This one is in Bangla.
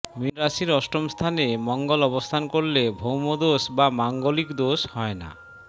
মীন রাশির অষ্টম স্থানে মঙ্গল অবস্থান করলে ভৌমদোষ বা মাঙ্গলিক দোষ হয় না